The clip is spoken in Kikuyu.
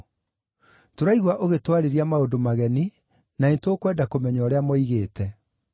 Tũraigua ũgĩtwarĩria maũndũ mageni, na nĩtũkwenda kũmenya ũrĩa moigĩte.”